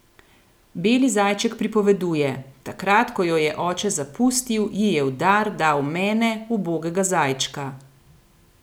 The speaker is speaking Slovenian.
Beli zajček pripoveduje: "Takrat, ko jo je oče zapustil, ji je v dar dal mene, ubogega zajčka.